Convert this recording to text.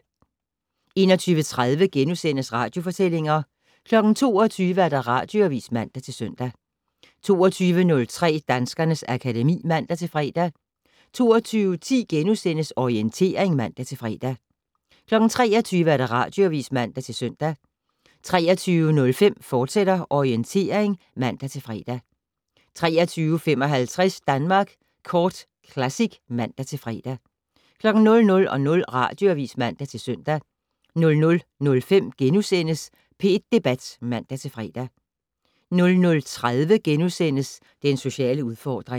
21:30: Radiofortællinger * 22:00: Radioavis (man-søn) 22:03: Danskernes akademi (man-fre) 22:10: Orientering *(man-fre) 23:00: Radioavis (man-søn) 23:05: Orientering, fortsat (man-fre) 23:55: Danmark Kort Classic (man-fre) 00:00: Radioavis (man-søn) 00:05: P1 Debat *(man-fre) 00:30: Den sociale udfordring *